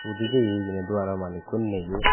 hudu jeye hijeni dogano malikku neyo.